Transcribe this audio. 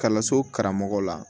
Kalanso karamɔgɔ la